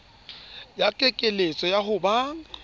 ya kekeletso ya ho ba